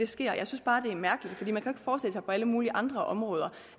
sker jeg synes bare det er mærkeligt for på alle mulige andre områder